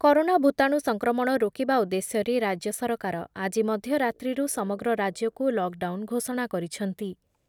Corona ଭୂତାଣୁ ସଂକ୍ରମଣ ରୋକିବା ଉଦ୍ଦେଶ୍ୟରେ ରାଜ୍ୟ ସରକାର ଆଜି ମଧ୍ୟ ରାତ୍ରିରୁ ସମଗ୍ର ରାଜ୍ୟକୁ ଲକ୍ ଡାଉନ୍ ଘୋଷଣା କରିଛନ୍ତି ।